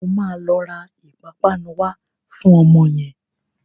O máa lọ ra ìpapánu wá fún ọmọ yẹn.